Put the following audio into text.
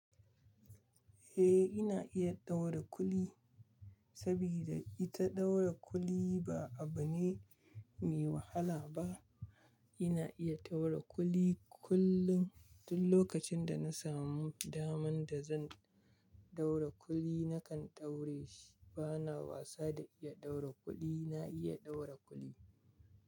Eh ina iya ɗaura kuli, sabida ita ɗaura kuli ba abu ne me wahala ba. Ina iya ɗaura kuli kullum, duk lokacin da na samu daman da zan ɗaura kuli nakan ɗaure shi. Bana wasa da iya ɗaura kuli, na iya ɗaura kuli.